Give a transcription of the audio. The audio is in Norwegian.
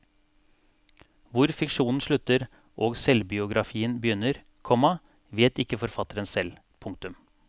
Hvor fiksjonen slutter og selvbiografien begynner, komma vet ikke forfatteren selv. punktum